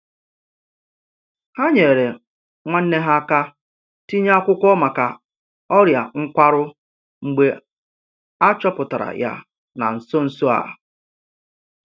Ha nyeere nwanne ha aka tinye akwụkwọ maka ọria nkwarụ mgbe a chọpụtara ya na nso nso a.